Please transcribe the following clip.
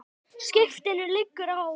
Skipinu liggur á.